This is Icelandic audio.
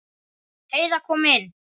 Heiða kom inn.